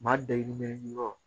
Maa dayirimɛ ɲini yɔrɔ